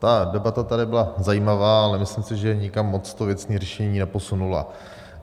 Ta debata tady byla zajímavá, ale myslím si, že nikam moc to věcné řešení neposunula.